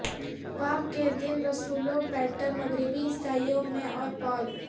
پاک کے دن رسولوں پیٹر مغربی عیسائیوں میں اور پال